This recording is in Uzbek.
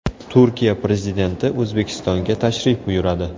Turkiya prezidenti O‘zbekistonga tashrif buyuradi.